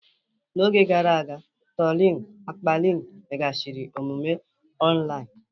N'oge gara aga, trolin mkpali mmeghachi omume online.